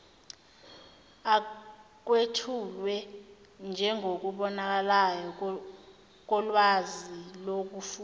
akwethulwe njengokubonakalayo kolwazilokufunda